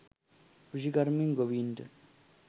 කෘෂිකර්මෙන් ගොවීන්ට